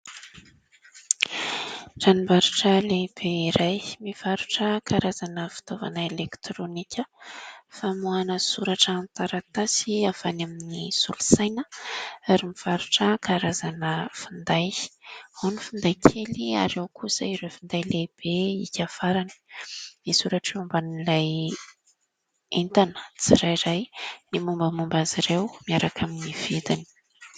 Tranombarotra lehibe iray mivarotra karazana fitaovana elektronika famoahana soratra amin'ny taratasy avy any amin'ny solosaina ary mivarotra karazana finday : ao ny finday kely ary ao kosa ireo finday lehibe hika farany. Misoratra eo ambanin'ilay entana tsirairay ny mombamomba azy ireo miaraka amin'ny vidiny.